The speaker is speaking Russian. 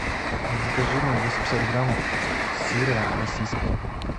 закажи мне двести пятьдесят грамм сыра российского